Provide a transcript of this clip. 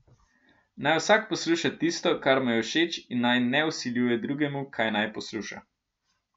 Naj vsak posluša tisto kar mu je všeč in naj ne vsiljuje drugemu kaj naj posluša.